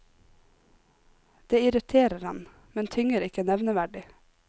Det irriterer ham, men tynger ikke nevneverdig.